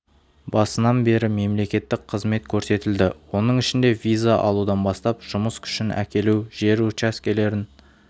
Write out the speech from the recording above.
басынан бері мемлекеттік қызмет көрсетілді оның ішінде виза алудан бастап жұмыс күшін әкелу жер учаскелерін